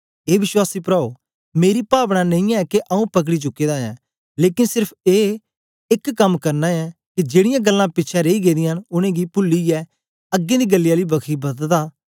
ए विश्वासी प्राओ मेरी पावनां ऐ नेई के आऊँ पकड़ी चुके दा ऐं लेकन सेर्फ ए एक कम करना ऐं के जेड़ीयां गल्लां पिछें रेई गेदियां न उनेंगी पुलीयै अगें दी गल्लें आली बखी बददा